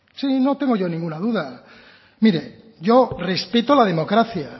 sí no tengo yo ninguna duda mire yo respeto la democracia